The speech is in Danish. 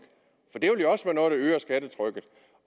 skattetrykket